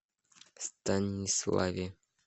станиславе